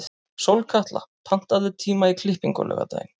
Sólkatla, pantaðu tíma í klippingu á laugardaginn.